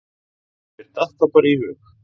Mér datt það bara í hug.